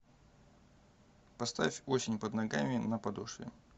поставь осень под ногами на подошве